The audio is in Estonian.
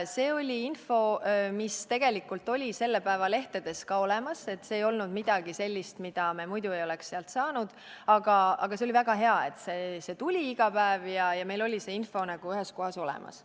See oli info, mis tegelikult oli selle päeva lehtedes ka olemas, see ei olnud midagi sellist, mida me muidu ei oleks saanud, aga oli väga hea, et see tuli iga päev ja meil oli info ühes kohas olemas.